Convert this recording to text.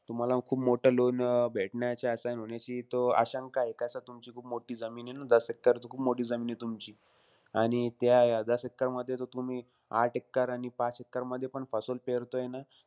तुम्हाला खूप मोठं loan अं भेटण्याची आशाय म्हणायची तो आशंकाय. कसंय तुमची खूप मोठी जमीन आहे न? दस एक्कर, तर खूप मोठी जमीन आहे तुमची. आणि त्या दस एक्करमध्ये तर तुम्ही, आठ एक्कर आणि पाच एक्करमध्ये पण पेरतोय न.